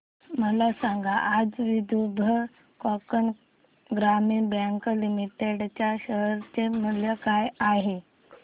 मला सांगा आज विदर्भ कोकण ग्रामीण बँक लिमिटेड च्या शेअर चे मूल्य काय आहे